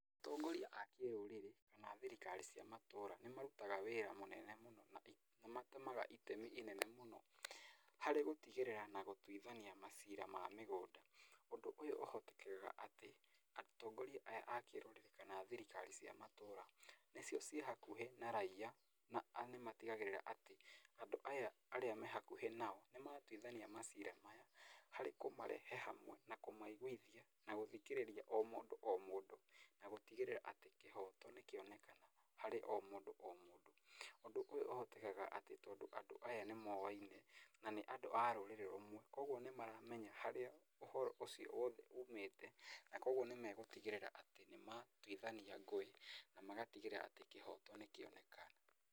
Atongoria a kĩrũrĩrĩ kana thirikari cia matũra, nĩ marutaga wĩra mũnene mũno, na nĩ matemaga itemi inene mũno harĩ gũtĩgĩrĩra na gũtwithania macira ma mĩgũnda. Ũndũ ũyũ ũhotekekaga atĩ atongoria aya a kĩrũrĩrĩ kana thirikari cia matũra, nĩcio ci hauhĩ na raiya na nĩ matigagĩrĩra atĩ andũ aya arĩa me hakuhĩ nao nĩ matuithania macira maya harĩ kũmarehe ha, we na kũmaiguithia na gũthikĩrĩria o mũndũ o mũndũ na gũtigĩrĩra atĩ kĩhoto nĩ kĩonekana harĩ o mũndũ o mũndũ. Ũndũ ũyũ ũhotekekaga, atĩ tondũ andũ aya nĩ moyaine, na nĩa rũrĩrĩ rũmwe, koguo nĩ maramenya harĩa ũhoro ũcio wothe umĩte, na koguo nĩ megũtigĩrĩra atĩ nĩ matuithania ngũĩ na magatigĩrĩra atĩ kĩhoto nĩ kĩoneka.